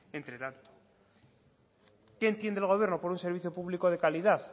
qué entiende el gobierno por un servicio público de calidad